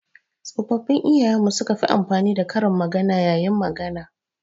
Tsofaffin iyayen mu su ka fi amfani da karin magana. yayin magana.